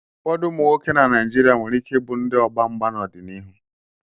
Ụfọdụ ụmụ nwoke na Naịjirịa nwere ike ịbụ ndị ọgba mgba n'ọdịnihu.